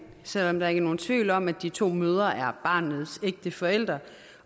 selv om der ikke er nogen tvivl om at de to mødre er barnets ægte forældre